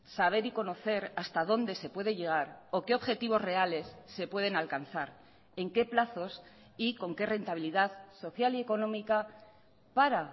saber y conocer hasta dónde se puede llegar o qué objetivos reales se pueden alcanzar en qué plazos y con qué rentabilidad social y económica para